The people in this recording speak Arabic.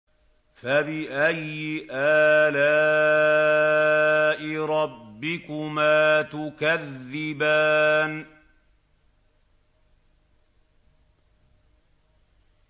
فَبِأَيِّ آلَاءِ رَبِّكُمَا تُكَذِّبَانِ